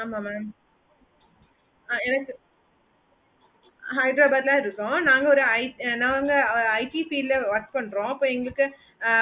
ஆமா mam அஹ் எனக்கு hyderabad ல இருக்கோம் நாங்க ஒரு IT நாங்க IT field ல work பண்றோம் இப்போ என்கிட்டே